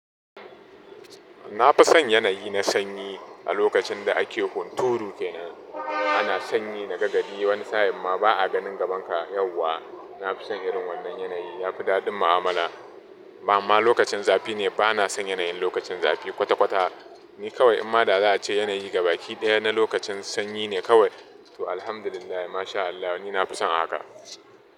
Na fi son yanayi na sanyi a lokacin da ake hunturu kenan. Ana sanyi na gari wani sa'in ma ba a ganin gaban ka yauwa. Na fi son irin wannan yanayi ya fi daɗin mu'amala. Bamma lokacin zafi ne, ba na son yanayin lokacin zafi kwata-kwata. Ni kawai, amma da za a ce yanayi gaba ɗaya na lokacin sanyi ne kawai, to Alhamdulillah, MashaAllah ni na fi son haka.